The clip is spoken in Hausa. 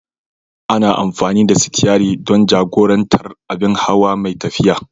Ana amfani da sitiyari don jagorantar abin hawa mai tafiya.